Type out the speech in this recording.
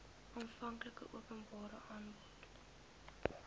aanvanklike openbare aanbod